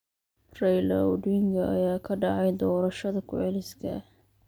Raila Odinga ayaa qaadacay doorashada ku celiska ah.